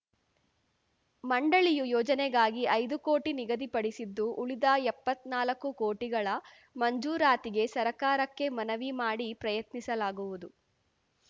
ಮಂಡಳಿಯೂ ಯೋಜನೆಗಾಗಿ ಐದು ಕೋಟಿ ನಿಗದಿಪಡಿಸಿದ್ದು ಉಳಿದ ಎಪ್ಪತ್ನಾಲ್ಕು ಕೋಟಿಗಳ ಮಂಜೂರಾತಿಗೆ ಸರ್ಕಾರಕ್ಕೆ ಮನವಿ ಮಾಡಿ ಪ್ರಯತ್ನಿಸಲಾಗುವುದು